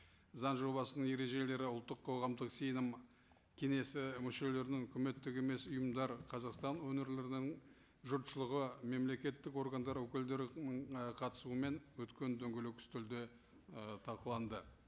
заң жобасының ережелері ұлттық қоғамдық сенім кеңесі мүшелерінің үкіметтік емес ұйымдар қазақстан өңірлерінің жұртшылығы мемлекеттік органдар өкілдерінің і қатысуымен өткен дөңгелек үстелде ы талқыланды